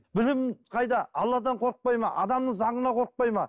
білім қайда алладан қорықпайды ма адамның заңынан қорықпайды ма